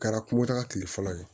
Kɛra kungotaga tigi fɔlɔ ye